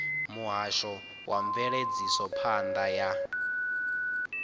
muhasho wa mveledzisophan ḓa ya